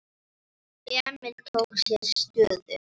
Emil tók sér stöðu.